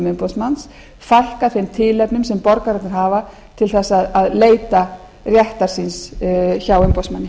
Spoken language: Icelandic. umboðsmanns að fækka þeim tilefnum sem borgararnir hafa til að leita réttar síns hjá umboðsmanni